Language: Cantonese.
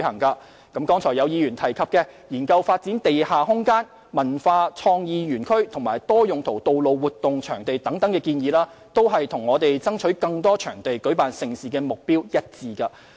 剛才有議員建議政府應研究發展地下空間、文化創意園區和多用途道路活動場地等，這都與我們爭取更多場地舉辦盛事的目標一致。